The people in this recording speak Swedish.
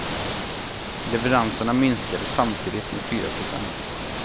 Leveranserna minskade samtidigt med fyra procent.